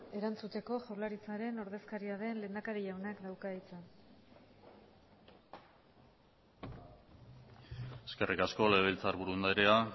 erantzuteko jaurlaritzaren ordezkaria den lehendakari jaunak dauka hitza eskerrik asko legebiltzarburu andrea